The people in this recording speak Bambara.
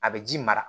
A bɛ ji mara